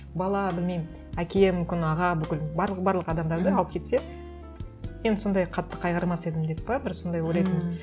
бала білмеймін әке мүмкін аға бүкілін барлық барлық адамдарды алып кетсе енді сондай қатты қайғырмас едім деп пе бір сондай ойлайтынмын